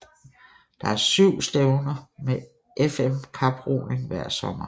Der er syv stævner med FM kaproning hver sommer